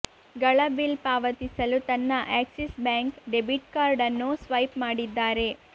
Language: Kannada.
ಗಳ ಬಿಲ್ ಪಾವತಿಸಲು ತನ್ನ ಆಕ್ಸಿಸ್ ಬ್ಯಾಂಕ್ ಡೆಬಿಟ್ ಕಾರ್ಡ್ ಅನ್ನು ಸ್ವೈಪ್ ಮಾಡಿದ್ದಾರೆ